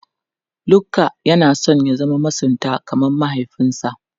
Luka yana son ya zama masunta kamar mahaifinsa.